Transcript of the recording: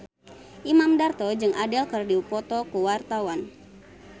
Imam Darto jeung Adele keur dipoto ku wartawan